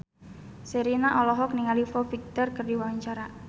Sherina olohok ningali Foo Fighter keur diwawancara